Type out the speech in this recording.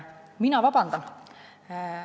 " Ma palun vabandust.